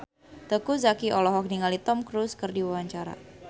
Teuku Zacky olohok ningali Tom Cruise keur diwawancara